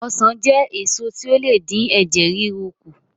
Ọsàn jẹ́ èso tí ó le dín ẹ̀jẹ̀ ríru kù